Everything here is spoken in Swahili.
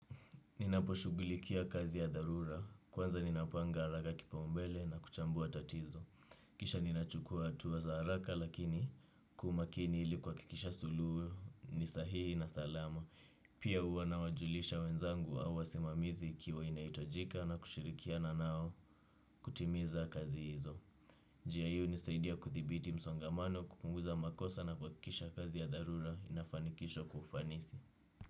Ninaposhughulikia kazi ya dharura, kwanza ninapanga haraka kipaumbele na kuchambua tatizo. Kisha ninachukua hatua za haraka lakini kwa umakini iliku hakikisha suluhu ni sahihi na salama. Pia huwa na wajulisha wenzangu au wasimamizi ikiwa inahitajika na kushirikiana nao kutimiza kazi hizo. Njia hii hunisaidia kuthibiti msongamano kupunguza makosa na kuhakikisha kazi ya dharura inafanikishwa kwa ufanisi.